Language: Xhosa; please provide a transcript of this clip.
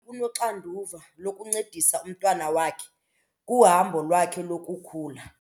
Unoxanduva lokuncedisa umntwana wakhe kuhambo lwakhe lokukhula.